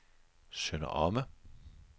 Sønder Omme